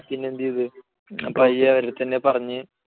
അത് കാരണം കൊണ്ട് പിന്നെ എന്ത് ചെയ്തു. അപ്പൊ അവരുടെ അടുത്ത് തന്നെ പറഞ്ഞ്